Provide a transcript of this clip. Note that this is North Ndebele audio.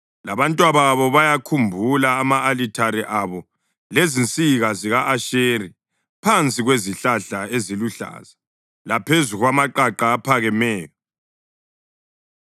Labantwababo bayawakhumbula ama-alithare abo lezinsika zika-Ashera phansi kwezihlahla eziluhlaza laphezu kwamaqaqa aphakemeyo.